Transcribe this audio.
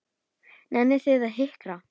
Nennið þið að hinkra?